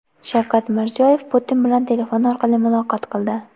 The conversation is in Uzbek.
Shavkat Mirziyoyev Putin bilan telefon orqali muloqot qildi.